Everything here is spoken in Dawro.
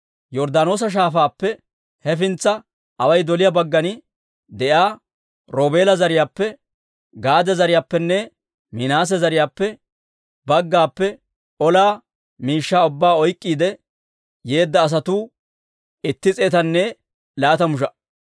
Yorddaanoosa Shaafaappe hefintsa away doliyaa baggan de'iyaa Roobeela zariyaappe, Gaade zariyaappenne Minaase zariyaa baggappe ola shaluwaa ubbaa oyk'k'iide yeedda asatuu itti s'eetanne laatamu sha"a.